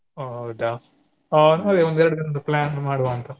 ಒ ಹೌದಾ ಹಾ ಅಂದ್ರೆ ಒಂದೆರ್ಡು ದಿನದ್ದು plan ಮಾಡುವ ಅಂತ ಏನ್ ಹೇಳ್ತೀರಾ?